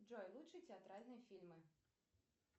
джой лучшие театральные фильмы